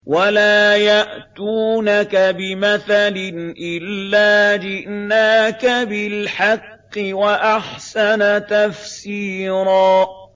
وَلَا يَأْتُونَكَ بِمَثَلٍ إِلَّا جِئْنَاكَ بِالْحَقِّ وَأَحْسَنَ تَفْسِيرًا